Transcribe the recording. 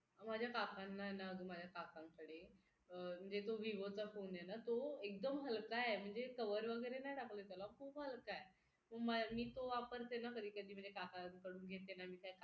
माझ्या काकांना ना अगं काकांकडे म्हणजे तो vivo चा फोन आहे ना तो एकदम हलका आहे म्हणजे cover वगैरे नाही टाकला त्याला खूप हलका आहे मग मी तो वापरते ना कधी कधी काकांकडून घेते